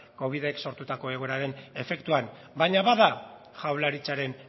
covidek sortutako egoeraren efektuan baina bada jaurlaritzaren